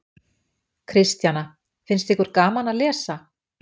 Kristjana: Finnst ykkur gaman að lesa?